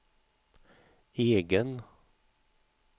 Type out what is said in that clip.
egen